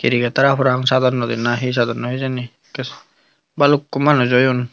cricket Hara parapang sadonnoi di na he sadonnoi hijeni ekke bhalukku manuj oyun.